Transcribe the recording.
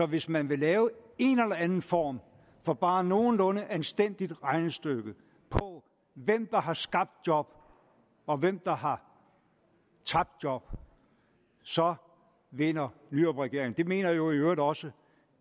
hvis man vil lave en eller anden form for bare nogenlunde anstændigt regnestykke på hvem der har skabt job og hvem der har tabt job så vinder nyrupregeringen det mener jo i øvrigt også